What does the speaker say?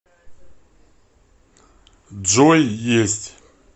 джой есть